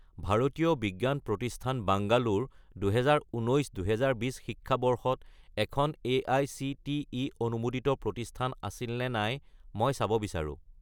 ভাৰতীয় বিজ্ঞান প্ৰতিষ্ঠান বাংগালোৰ 2019 - 2020 শিক্ষাবৰ্ষত এখন এআইচিটিই অনুমোদিত প্ৰতিষ্ঠান আছিল নে নাই মই চাব বিচাৰোঁ।